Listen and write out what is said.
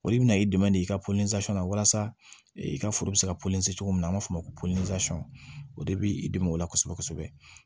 Olu bɛna i dɛmɛ de i ka na walasa i ka foro bɛ se ka cogo min na an b'a fɔ o ma ko o de bɛ i dɛmɛ o la kosɛbɛ kosɛbɛ